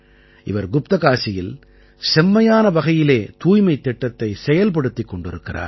இவர் குப்தகாசியில் செம்மையான வகையிலே தூய்மைத் திட்டத்தைச் செயல்படுத்திக் கொண்டிருக்கிறார்